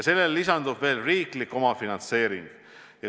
Sellele lisandub veel riiklik omafinantseering.